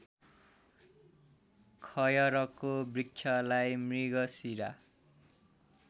खयरको वृक्षलाई मृगशिरा